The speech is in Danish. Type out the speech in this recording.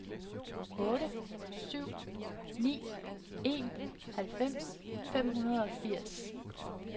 otte syv ni en halvfems fem hundrede og firs